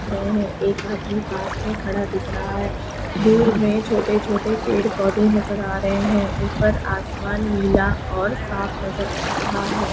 --में है एक आदमी पास में खड़ा दिख रहा है दूर मे छोटे छोटे पेड़ पौधे नजर आ रहे हैं ऊपर आसमान नीला और साफ नजर आ रहा है।